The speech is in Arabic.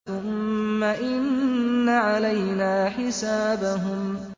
ثُمَّ إِنَّ عَلَيْنَا حِسَابَهُم